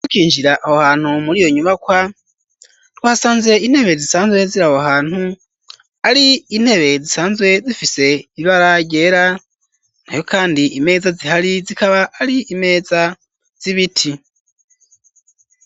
Tucinjira aho hantu muri iyo nyubakwa, twasanze intebe zisanzwe zir'aho hantu ari intebe zisanzwe zifise ibara ryera, n'ayo kandi imeza zihari zikaba ari imeza z'ibiti.